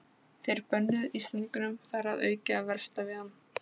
Þeir bönnuðu Íslendingum þar að auki að versla við hann.